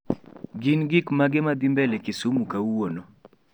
gin gik mage madhi mbele kisumu kawuono